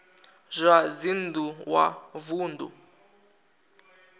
zwa dzinn ḓu wa vunḓu